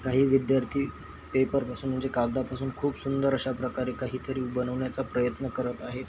काही विद्यार्थी पेपर पासून म्हणजे कागदापासून खूप सुंदर अशा प्रकारे काही तरी बनवण्याचा प्रयत्न करत आहे.